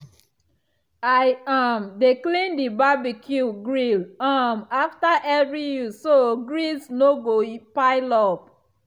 i um dey clean the barbecue grill um after every use so grease no go pile up.